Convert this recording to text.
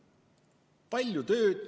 Lihtsalt palju tööd.